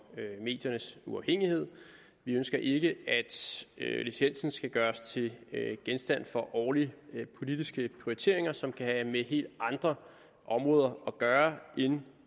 mediernes uafhængighed vi ønsker ikke at licensen skal gøres til genstand for årlige politiske prioriteringer som kan have med helt andre områder at gøre end